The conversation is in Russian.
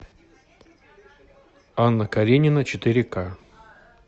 анна каренина четыре ка